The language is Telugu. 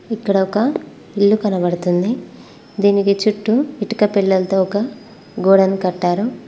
ఇక్కడ ఒక ఇల్లు కనబడుతుంది దీనికి చుట్టూ ఇటుక పిల్లలతో ఒక గోడను కట్టారు.